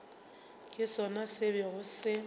ke sona se bego se